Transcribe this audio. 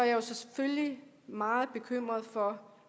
jo selvfølgelig meget bekymret for